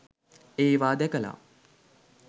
ඒවා දැකලා